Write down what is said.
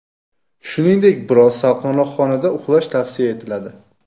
Shuningdek, biroz salqinroq xonada uxlash tavsiya etiladi.